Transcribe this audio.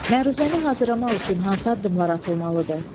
Məruzəni hazırlamaq üçün hansı addımlar atılmalıdır?